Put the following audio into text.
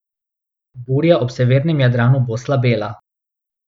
Burja ob severnem Jadranu bo slabela.